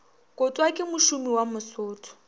kotwa ke mošomi wa mosotho